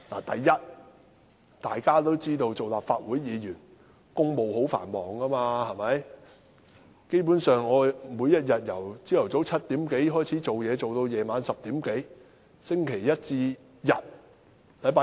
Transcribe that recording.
第一，大家都知道，作為立法會議員，公務十分繁忙，我每天由早上7時多開始工作至晚上10時多，星期一至星期日。